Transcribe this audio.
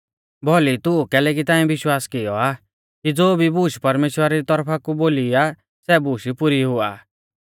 भौली तू कैलैकि ताऐं विश्वास कियौ आ कि ज़ो भी बूश परमेश्‍वरा री तौरफा कु बोली आ सै बूश पुरी हुआ आ